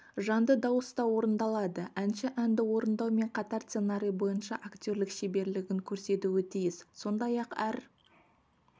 жанды дауыста орындалады әнші әнді орындаумен қатар сценарий бойынша актерлік шеберлігін көрсетуі тиіс сондай-ақ әр